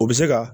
U bɛ se ka